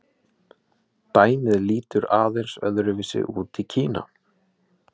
dæmið lítur aðeins öðru vísi út í kína